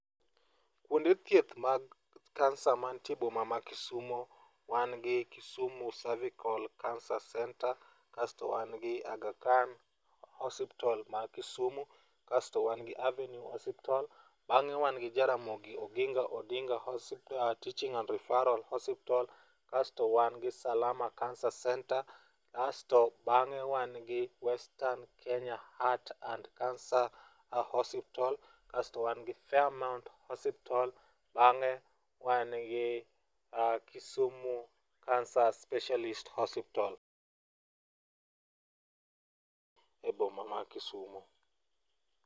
Kuonde thieth mag kansa mantie e boma ma Kisumo wan gi Kisumu Servical Cancer Centre kaeto wan kod Aghakhan Hospital , wan gi Avenue Hospital bang'e wan gi Jaramogi Oginga Odinga Hospital Teaching and Referral Hospital kasto wan gi Salama Cancer Centre kasto bang'e wan kod Western Kenya Heart and Cancer Hospital kasto wan gi Fare Mount Hospital kae bang'e wan gi Kisumi Cancer Specialist Hospital e boma ma Kisumo..